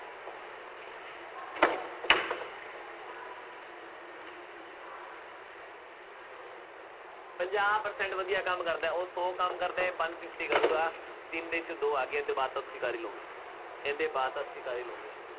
ਪੰਜਾਹ percent ਵਧੀਆਂ ਕੰਮ ਕਰਦਾ ਹੈ। ਉਹ ਸੌ ਕੰਮ ਕਰਦਾ ਹੈ, ਇਹ one fifty ਕਰੂਗਾ, ਤਿੰਨ ਦਿਨ ਚ ਦੋ ਆ ਗਈਆਂ, ਇਹ ਤੋਂ ਬਾਅਦ ਤਾਂ ਤੁਸੀਂ ਕਰ ਹੀ ਲਉਗੇ, ਇਹਦੇ ਬਾਅਦ ਤਾਂ ਤੁਸੀਂ ਕਰ ਹੀ ਲਉਗੇ।